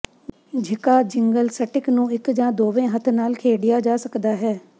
ਝਿਕਾ jingle stick ਨੂੰ ਇੱਕ ਜਾਂ ਦੋਵੇਂ ਹੱਥ ਨਾਲ ਖੇਡਿਆ ਜਾ ਸਕਦਾ ਹੈ